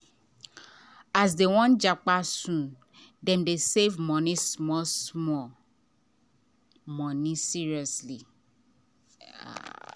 as dem wan japa soon dem dey save small-small money seriously